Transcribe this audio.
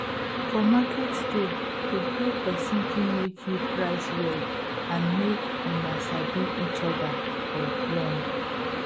for market day to hail person fit make you price well and make una sabi each other for long